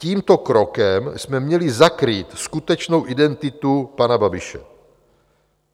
Tímto krokem jsme měli zakrýt skutečnou identitu pana Babiše.